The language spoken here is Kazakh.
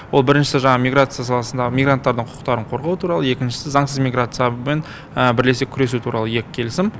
ол біріншісі жаңағы миграция саласындағы мигранттардың құқықтарын қорғау туралы екіншісі заңсыз миграциямен бірлесе күресу туралы екі келісім